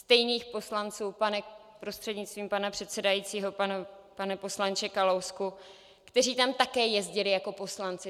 Stejných poslanců, prostřednictvím pana předsedajícího pane poslanče Kalousku, kteří tam také jezdili jako poslanci.